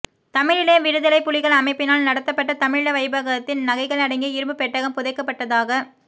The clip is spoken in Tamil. தமிழீழ விடுதலைப் புலிகள் அமைப்பினால் நடாத்தப்பட்ட தமிழீழ வைப்பகத்தின் நகைகள் அடங்கிய இரும்புப் பெட்டகம் புதைக்கப்பட்டதாகக்